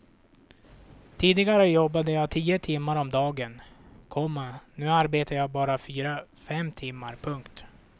Tidigare jobbade jag tio timmar om dagen, komma nu arbetar jag bara fyra fem timmar. punkt